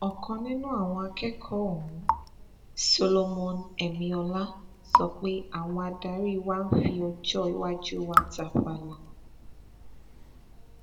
ọkan nínú àwọn akẹkọọ ọhún solomon emiola sọ pé àwọn adarí wa ń fi ọjọ iwájú wa tàfàlà